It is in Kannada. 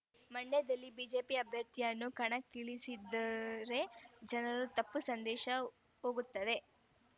ಮಂಡ್ಯದಲ್ಲಿ ಬಿಜೆಪಿ ಅಭ್ಯರ್ಥಿಯನ್ನು ಕಣಕ್ಕಿಳಿಸಿದ್ದರೆ ಜನರಿಗೆ ತಪ್ಪು ಸಂದೇಶ ಹೋಗುತ್ತದೆ